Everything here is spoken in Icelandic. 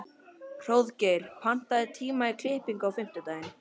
Hróðgeir, pantaðu tíma í klippingu á fimmtudaginn.